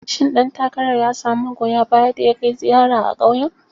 Shin ɗan takarar ya samu magoya baya da ya kai ziyara a ƙauyen?